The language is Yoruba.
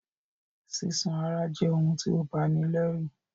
Sísán àráa je oun ti o bani lẹ́rù